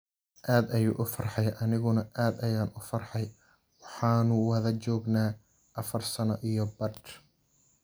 Aad ayuu u farxay, aniguna aad ayaan u farxay, waxaanu wada joognay afar sano iyo badh.